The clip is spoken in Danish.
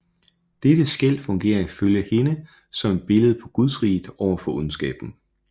Dette skel fungerer ifølge hende som et billede på gudsriget overfor ondskaben